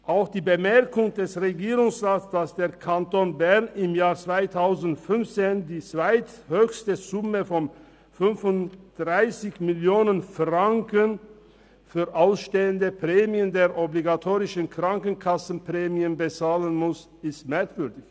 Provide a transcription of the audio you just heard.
Auch die Bemerkung des Regierungsrats, dass der Kanton Bern im Jahr 2015 die zweithöchste Summe von 35 Mio. Franken für ausstehende Prämien der obligatorischen Krankenkasse bezahlen musste, ist merkwürdig.